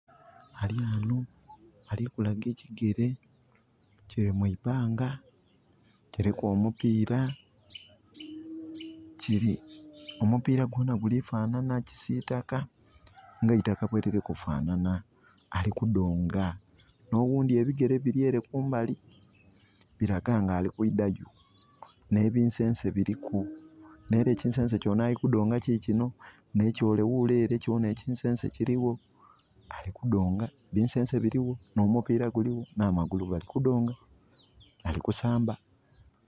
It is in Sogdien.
Ali wano, ali kulaga ekigere kiri mwibbanga, kiriku omupiira. Omupiira gwona gulifanana kisitaka nga eitakka bweliri kufanana. Ali kudonga. Nowundi ebigere biryere kumbali biraga nga alikwidayo. Ne bisense biriku. Neera kisense ekyono ali kudonga kikino ne kyole wulele era kyona ekisense kiriwo. Ali kudonga, bisense biriwo no mupiira guliwo na magulu bali kudonga ali kusamba